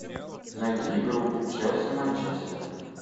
найди игру челси манчестер